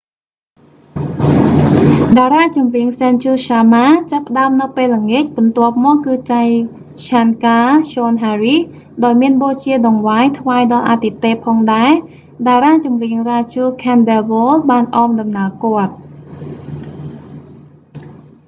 តារាចម្រៀង sanju sharma ចាប់ផ្តើមនៅពេលល្ងាច បន្ទាប់មកគឺ jai shankar choudhary ដោយមានបូជាដង្វាយថ្វាយដល់អាទិទេពផងដែរ តារាចម្រៀង raju khandelwal បានអមដំណើរគាត់